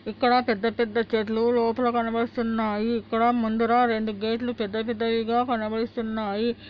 ఇక్కడ పెద్ద- పెద్ద చెట్లు లోపల కనపడిస్తున్నాయి ఇక్కడ ముందుర రెండు గేట్లు పెద్ద పెద్దవిగా కనపడిస్తున్నాయి.